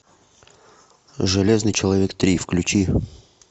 железный человек три включи